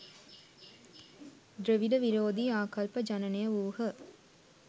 ද්‍රවිඩ විරෝධී ආකල්ප ජනනය වූහ